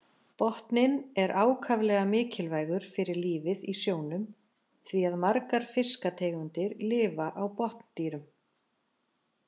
Botninn er ákaflega mikilvægur fyrir lífið í sjónum því að margar fiskategundir lifa á botndýrum.